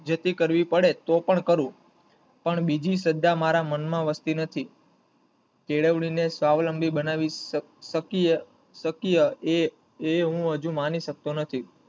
જેથી કરવી પડે તો પણ કરું પણ બીજી શ્રદ્ધા મારા મનમાં વસતી નથી કેળવણી ને સ્વાવલબી બનાવી શક~શકીય શકીય એ એ હું હજુ માંની શકતો નથી.